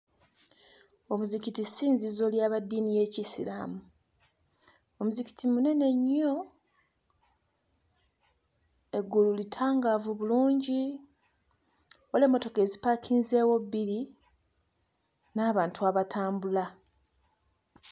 Omuzikiti ssinzizo lyaba ddiini y'Ekiyisiraamu. Omuzikiti munene nnyo, eggulu litangaavu bulungi, waliwo emmotoka ezipaakinzeewo bbiri n'abantu abatambula.